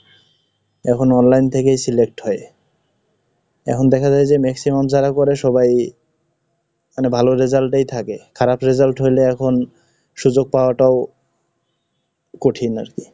এখন Online থেকেই select হয়, এখন দেখা যায় যে maximum যারা করে সবাই মানে ভালো result এই থাকে, খারাপ result হইলে এখন সুযোগ পাওয়া টাও, কঠিন আর কি।